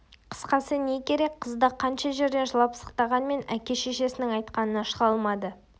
қысқасы не керек қыз да қанша жерден жылап-сықтағанмен әке-шешесінің айтқанынан шыға алмады